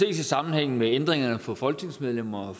i sammenhæng med ændringerne for folketingsmedlemmer